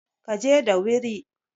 ka je dawiri!